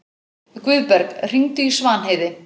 Guðberg, hringdu í Svanheiði.